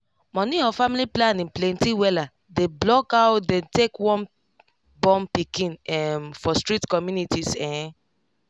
money of family planning plenty wella dey block aw dem take wun born pikin um for strict communities ehn